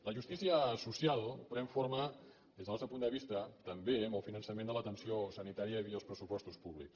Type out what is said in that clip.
la justícia social pren forma des del nostre punt de vista també amb el finançament de l’atenció sanitària via els pressupostos públics